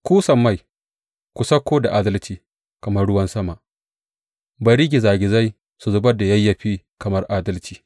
Ku sammai, ku sauko da adalci kamar ruwan sama; bari gizagizai su zubar da yayyafi kamar adalci.